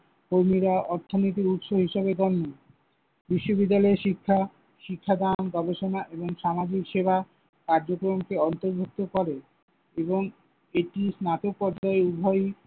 কর্মীরা অর্থনীতির উৎস হিসেবে গণ্য। বিশ্ববিদ্যালয়ে শিক্ষা, শিক্ষাদান, গবেষণা এবং সামাজিক সেবা কার্যক্রমকে অন্তর্ভুক্ত করে এবং এটি স্নাতক পর্যায়ে উভয়ই